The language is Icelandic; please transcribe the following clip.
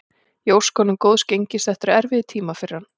Ég óska honum góðs gengis, þetta eru erfiðir tímar fyrir hann.